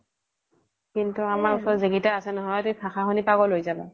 কিন্তু আমাৰ উচৰত যি কেইতা আছে নহয় তুমি ভাষা সুনিলে পাগল হৈ যাবা